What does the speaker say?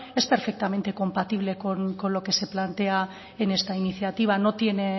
es perfectamente compatible con lo que se plantea en esta iniciativa